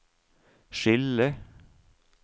skille